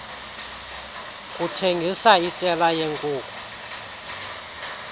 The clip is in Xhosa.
kuthengisa itela yeenkuku